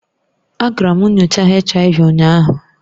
Agara m nyocha HIV ụnyaahụ